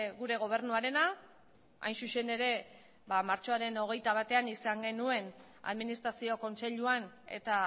gure gobernuarena hain zuzen ere martxoaren hogeita batean izan genuen administrazio kontseiluan eta